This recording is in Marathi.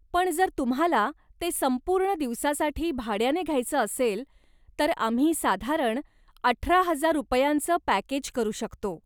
पण जर तुम्हाला ते संपूर्ण दिवसासाठी भाड्याने घ्यायचं असेल तर आम्ही साधारण अठरा हजार रुपयांचं पॅकेज करू शकतो.